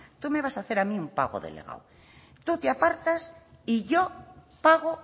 no tú me vas a hacer a mí un pago delegado tú te apartas y yo pago